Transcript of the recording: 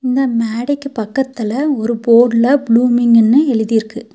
இந்த மேடைக்கு பக்கத்துல ஒரு போர்டுல ப்ளூமிங்ன்னு எழுதிருக்கு.